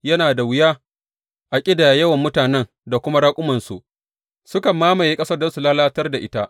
Yana da wuya a ƙidaya yawan mutanen da kuma raƙumansu; sukan mamaye ƙasar don su lalatar da ita.